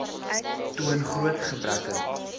toon groot gebreke